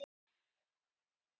erfitt er að fullyrða um ástæðuna